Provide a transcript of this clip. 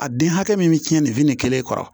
A den hakɛ min bɛ cɛn lenfini kelen kɔrɔ